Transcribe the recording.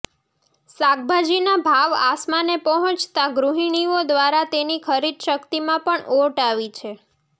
શાકભાજીના ભાવ આસમાને પહોંચતા ગૃહિણીઓ દ્વારા તેની ખરીદ શક્તિમાં પણ ઓટ આવી છે